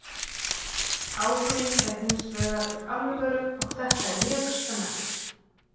Áhuginn er hins vegar alvöru og þetta er mjög spennandi.